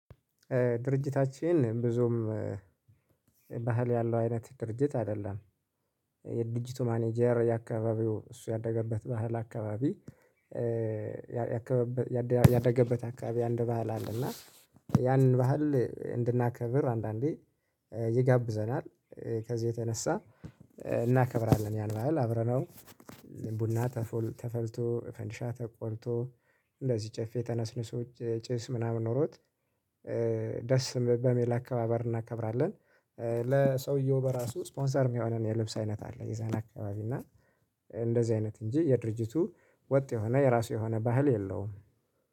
ድርጅታችን ብዙም ባህል ያለው አይነት ድርጅት አይደለም የድርጅቱ ማናጀር የአካባቢው እሱ ያደገበት ባህል አካባቢ። ያደገበት አካባቢ አንድ ባህል አለ። እና ያንን ባህል እንድናከብር አንዳንዴ ይጋብዘናል። ከዚህ የተነሳ እናከብራለን። ያን ባህል አብረነው ቡና ተፈልቶ ፈንዲሻ ተቆልቶ እንደዚህ ጭፌ ተነስንሶ ጭስ ምናምን ኖሮት። ደስ በሚል አከባበር እናከብራለን። ለሰውየው በራሱ ስፖንሰር የሚሆነን የልብስ አይነት አለ። የዛን አካባቢ እና እንደዚህ አይነት እንጂ የድርጅቱ ወጥ የሆነ የራሱ የሆነ ባህል የለውም